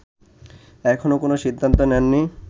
এখনও কোন সিদ্ধান্ত নেননি